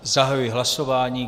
Zahajuji hlasování.